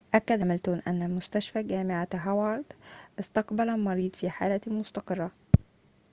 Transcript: أكد هاميلتون أن مستشفى جامعة هوارد استقبل المريض في حالة مستقرة